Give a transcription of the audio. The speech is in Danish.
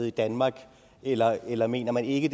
i danmark eller eller mener man ikke